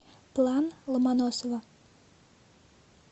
план ломоносова